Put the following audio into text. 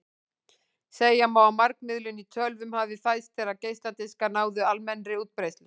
Segja má að margmiðlun í tölvum hafi fæðst þegar geisladiskar náðu almennri útbreiðslu.